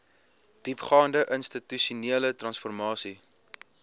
diepgaande institusionele transformasie